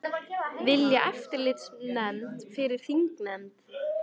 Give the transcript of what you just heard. Vilja eftirlitsnefnd fyrir þingnefnd